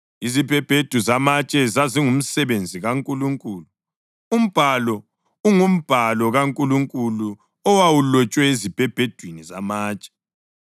Izibhebhedu zamatshe zazingumsebenzi kaNkulunkulu; umbhalo ungumbhalo kaNkulunkulu owawulotshwe ezibhebhedwini zamatshe.